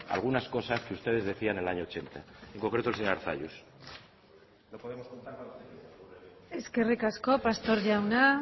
algunas cosas que ustedes decían el año ochenta en concreto el señor arzalluz eskerrik asko pastor jauna